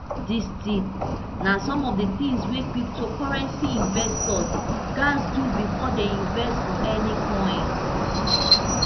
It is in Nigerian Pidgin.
dis tips na some of di tins wey cryptocurrency investors gatz do bifor dem invest for any coin